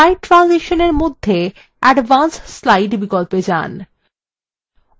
slide ট্রানজিশনসএর মধ্যে advance slide বিকল্পে যান